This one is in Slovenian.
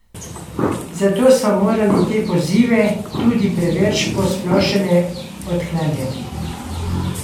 Zato smo morali te pozive, tudi preveč posplošene, odklanjati.